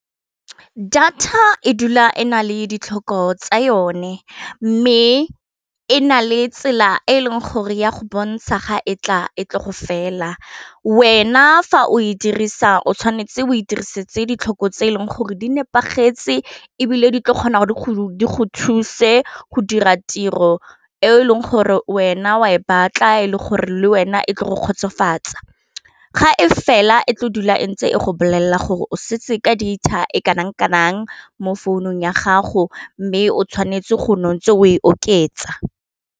Data e dula e na le ditlhoko tsa yone mme e na le tsela e e leng gore ya go bontsha ga e tla e tle go fela wena fa o e dirisang o tshwanetse go e dirisetsa ditlhoko tse e leng gore di nepagetse e bile di tla kgona gore di go thuse go dira tiro e leng gore wena wa e batla e le gore le wena e tle go kgotsofatsa, ga e fela e tlo dula e ntse e go bolelela gore o setse ka data e kanang-kanang mo founung ya gago mme o tshwanetse go no ntse o e oketsa.